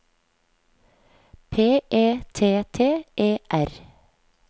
P E T T E R